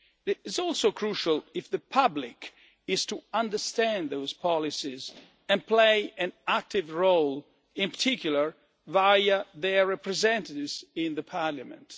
It is also crucial if the public is to understand those policies and play an active role, in particular via their representatives in Parliament.